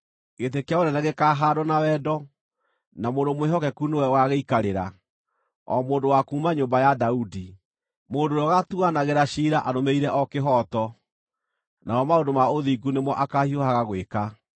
Gĩtĩ kĩa ũnene gĩkaahaandwo na wendo; na mũndũ mwĩhokeku nĩwe ũgaagĩikarĩra, o mũndũ wa kuuma nyũmba ya Daudi, mũndũ ũrĩa ũgaatuanagĩra ciira arũmĩrĩire o kĩhooto, namo maũndũ ma ũthingu nĩmo akaahiũhaga gwĩka.